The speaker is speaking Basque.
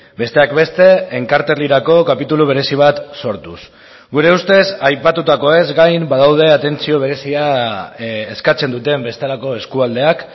besteak beste enkarterrirako kapitulu berezi bat sortuz gure ustez aipatutakoez gain badaude atentzio berezia eskatzen duten bestelako eskualdeak